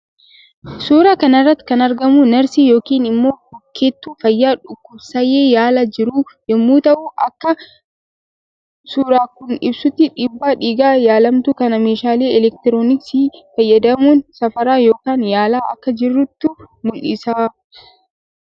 Suuraa kanarratti kan argamu narsii yookin immoo hokkettuu fayya dhukubsaya yaala jirtu yommuu ta'u Akka suuran Kun ibsutti dhiibba dhiiga yaalamtuu kana meeshalee elektirooniksii fayyadamuun safara yookaan yaala akka jirtu mul'isa